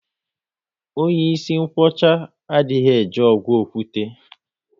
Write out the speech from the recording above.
Onye ịsị nkwocha, a dị eje ọgụ okwute